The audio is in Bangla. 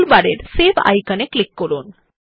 টুলবারের সেভ আইকনে ক্লিক করুন